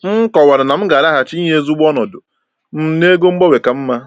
M kọwara na m ga-alaghachi inye ozugbo ọnọdụ m n’ego gbanwee ka mma.